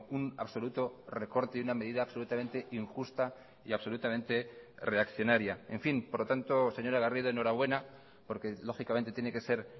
un absoluto recorte y una medida absolutamente injusta y absolutamente reaccionaria en fin por lo tanto señora garrido enhorabuena porque lógicamente tiene que ser